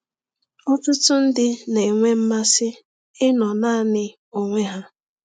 Ọtụtụ ndị na-enwe mmasị ịnọ naanị onwe ha.